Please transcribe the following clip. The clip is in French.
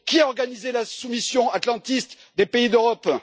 Qui a organisé la soumission atlantiste des pays d'Europe?